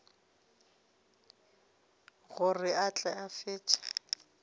gore a tle a fetše